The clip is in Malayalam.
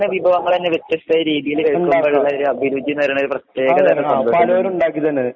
വിഭവങ്ങള്ത്തന്നെ വ്യത്യസ്ഥ രീതിയില് വെക്കുമ്പോഴുള്ളൊരു അഭിരുചി എന്നു പറയുന്നത് ഒരു പ്രേത്യകതരം